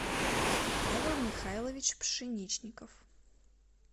павел михайлович пшеничников